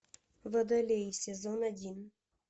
водолей сезон один